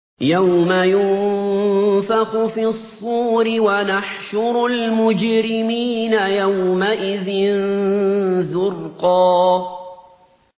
يَوْمَ يُنفَخُ فِي الصُّورِ ۚ وَنَحْشُرُ الْمُجْرِمِينَ يَوْمَئِذٍ زُرْقًا